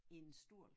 En stol